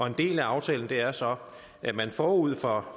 en del af aftalen er så at man forud for